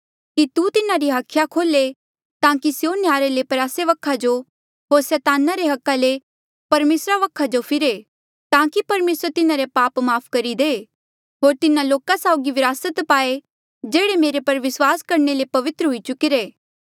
कि तू तिन्हारी हाखिया खोल्हे ताकि स्यों नह्यारे ले प्रयासे वखा जो होर सैताना रे अधिकारा ले परमेसरा वखा जो फिरे ताकि परमेसर तिन्हारे पापा री माफ़ करहे होर तिन्हा लोका साउगी विरासत पाए जेह्ड़े मेरे पर विस्वास करणे ले पवित्र हुई चुकिरे